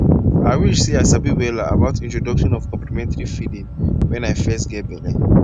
ah i wish seh i sabi wella about introduction of complementary feeding when i fess geh belle